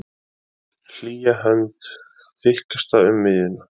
Hlýja hönd, þykkasta um miðjuna.